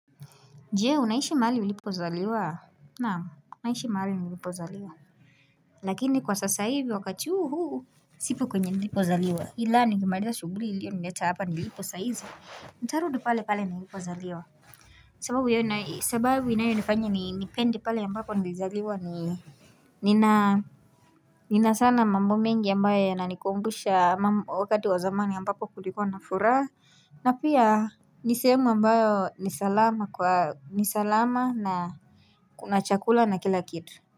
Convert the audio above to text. Jee unaishi mahali ulipozaliwa? Naam, naishi mahali nilipozaliwa. Lakini kwa sasa hivi wakati uu huu, siko kwenye nilipozaliwa ila nikimariza shughuli iliyonileta hapa nilipo saa hizi nitarudi pale pale nilipozaliwa sababu hiyo nayo sababu inayonifanya ni nipende pale ambapo nilizaliwa ni nina nina sana mambo mengi ambayo yananikumbusha mambo wakati wa zamani ambapo kulikuwa na furaha na pia, ni sehemu ambayo ni salama kwa ni salama, na, kuna chakula na kila kitu.